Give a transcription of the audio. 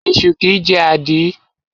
Esu kìí jẹ́ àdí.